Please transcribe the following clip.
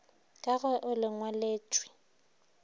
ka ge o le ngwaletšwe